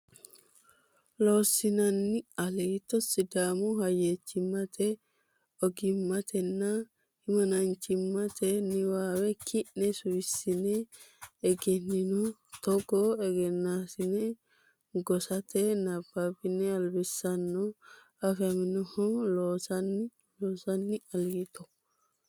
Loossinanni Aliito Sidaamu hayyichimmate ogimmatenna himanaachimmate niwaawe ki ne suwissine egennaminoho Togoo egennosinni gosate nabbabbe albisaano afaminoho Loossinanni Loossinanni Aliito.